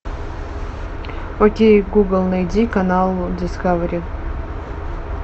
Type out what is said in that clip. окей гугл найди канал дискавери